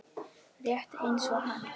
Rétt eins og hann.